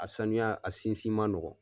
Sanuya a sinsin man nɔgɔ.